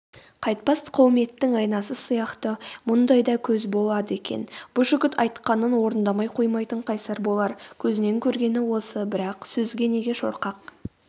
қайтпас қауметтің айнасы сияқты мұндай да көз болады екен бұ жігіт айтқанын орындамай қоймайтын қайсар болар көзінен көргені осы бірақ сөзге неге шорқақ